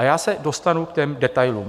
A já se dostanu k těm detailům.